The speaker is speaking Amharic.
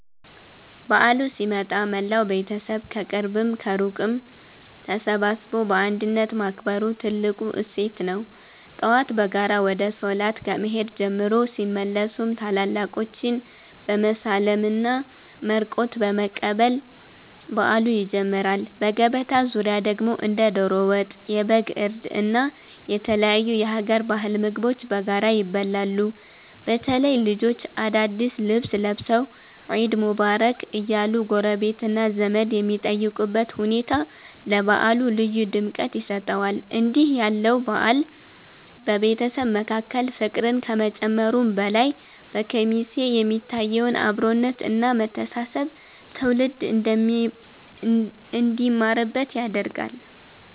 በዓሉ ሲመጣ መላው ቤተሰብ ከቅርብም ከሩቅም ተሰባስቦ በአንድነት ማክበሩ ትልቁ እሴት ነው። ጠዋት በጋራ ወደ ሶላት ከመሄድ ጀምሮ፣ ሲመለሱም ታላላቆችን በመሳለምና መርቆት በመቀበል በዓሉ ይጀምራል። በገበታ ዙሪያ ደግሞ እንደ ዶሮ ወጥ፣ የበግ እርድ እና የተለያዩ የሀገር ባህል ምግቦች በጋራ ይበላሉ። በተለይ ልጆች አዳዲስ ልብስ ለብሰው "ዒድ ሙባረክ" እያሉ ጎረቤትና ዘመድ የሚጠይቁበት ሁኔታ ለበዓሉ ልዩ ድምቀት ይሰጠዋል። እንዲህ ያለው በዓል በቤተሰብ መካከል ፍቅርን ከመጨመሩም በላይ፣ በኬሚሴ የሚታየውን አብሮነት እና መተሳሰብ ትውልድ እንዲማርበት ያደርጋል።